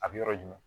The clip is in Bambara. A bɛ yɔrɔ jumɛn